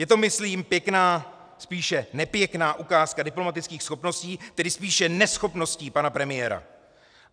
Je to myslím pěkná, spíše nepěkná ukázka diplomatických schopností, tedy spíše neschopností pana premiéra.